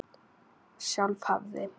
Sjálf hafði